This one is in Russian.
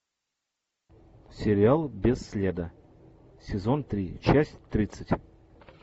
сериал без следа сезон три часть тридцать